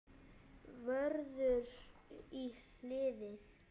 Vörður í hliðið.